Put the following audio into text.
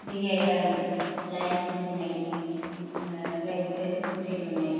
Theatre lights ఉన్నాయి న-రెడ్ red కుర్చీలు ఉన్నాయి.